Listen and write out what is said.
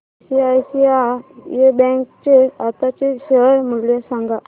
ICICI bank चे आताचे share मूल्य सांगा